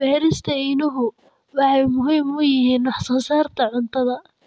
Beerista iniinuhu waxay muhiim u yihiin wax soo saarka cuntada.